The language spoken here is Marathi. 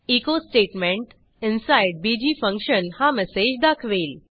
echo statement inside bg function हा मेसेज दाखवेल